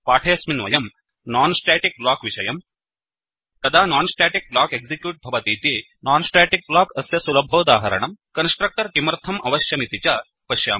पाठेऽस्मिन् वयम् non static block विषयं कदा non स्टेटिक ब्लॉक एक्सिक्यूट् भवतीति non स्टेटिक ब्लॉक अस्य सुलभोदाहरणम् कन्स्ट्रक्टर् किमर्थम् अवश्यमित्यपि च पश्यामः